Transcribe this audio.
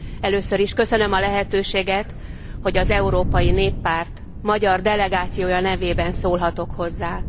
Először is köszönöm a lehetőséget, hogy az Európai Néppárt magyar delegációja nevében szólhatok hozzá.